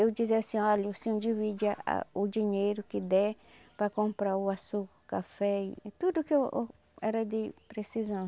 Eu dizia assim, olha, o senhor divide a o dinheiro que der para comprar o açúcar, café e tudo que eu era de precisão.